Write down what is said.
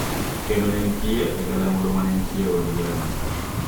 Kendo ne entie e galamoro ma ne nitie e Od Burano